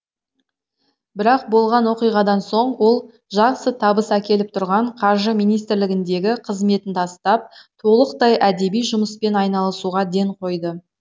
бірақ болған оқиғадан соң ол жақсы табыс әкеліп тұрған қаржы министрлігіндегі қызметін тастап толықтай әдеби жұмыспен айналасуға ден қойды